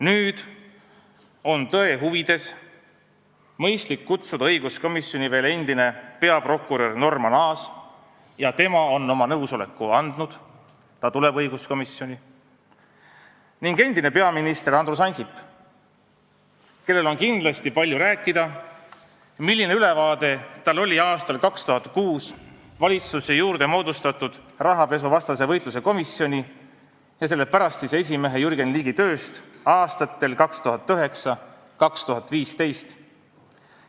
Nüüd on tõe huvides mõistlik kutsuda õiguskomisjoni veel endine peaprokurör Norman Aas – tema on oma nõusoleku andnud, ta tuleb õiguskomisjoni – ning endine peaminister Andrus Ansip, kellel on kindlasti palju rääkida sellest, milline ülevaade tal oli aastal 2006 valitsuse juurde moodustatud rahapesu tõkestamise komisjoni ja selle pärastise esimehe Jürgen Ligi tööst aastatel 2009–2015.